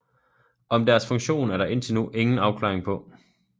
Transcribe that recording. Om deres funktion er der indtil nu ingen afklaring på